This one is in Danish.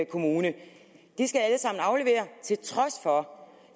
kommune de skal alle sammen aflevere til trods for